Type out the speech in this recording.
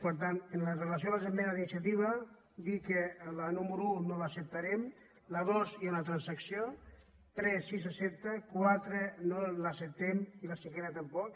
per tant amb relació a les esmenes d’iniciativa dir que la número un no l’accep·tarem la dos hi ha una transacció tres sí s’accepta quatre no l’acceptem i la cinquena tampoc